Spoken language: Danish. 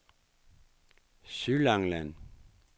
Sydlangeland